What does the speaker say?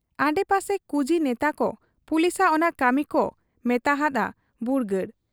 ᱟᱰᱮ ᱯᱟᱥᱮ ᱠᱩᱡᱤ ᱱᱮᱛᱟᱠᱚ ᱯᱩᱞᱤᱥᱟᱜ ᱚᱱᱟ ᱠᱟᱹᱢᱤᱠᱚ ᱢᱮᱛᱟ ᱦᱟᱫ ᱟ ᱵᱩᱨᱜᱟᱹᱲ ᱾